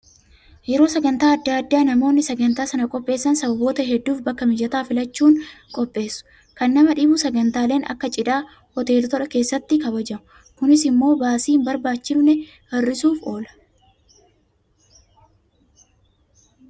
Yeroo sagantaa adda addaa namoonni sagantaa sana qopheessan sababoota hedduuf bakka mijataa filachuun qopheessu. Kan nama dhibu sagantaaleen akka cidhaa hoteelota keessatti kabaju. Kunis immoo baasii hin barbaachifne hir'isuuf oola.